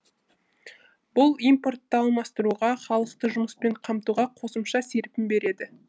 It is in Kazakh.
бұл импортты алмастыруға халықты жұмыспен қамтуға қосымша серпін береді